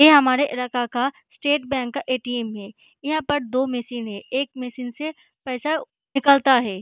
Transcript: ये हमारे इलाका का स्टेट बैंक का ए.टी.एम. है यहाँ पे दो मशीन है एक मशीन से पैसा निकलता है।